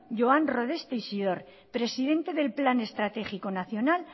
joan rodés teixidor presidente del plan estratégico nacional